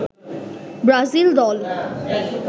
Brazil দল